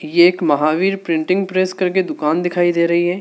ये एक Mahavir printing press करके दुकान दिखाई दे रही है।